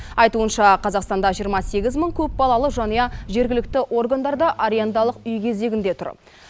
айтуынша қазақстанда жиырма сегіз мың көпбалалы жанұя жергілікті органдарда арендалық үй кезегінде тұр